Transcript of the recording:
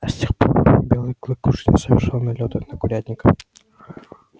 с тех пор белый клык уже не совершал налётов на курятник